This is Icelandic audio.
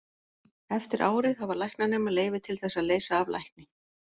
Eftir árið hafa læknanemar leyfi til þess að leysa af lækni.